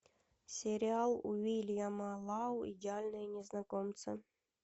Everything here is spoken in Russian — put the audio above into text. сериал уильяма лау идеальные незнакомцы